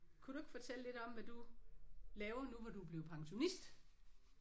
Kunne du ikke fortælle lidt om hvad du laver nu hvor du er blevet pensionist?